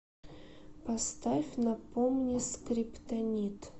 поставь напомни скриптонит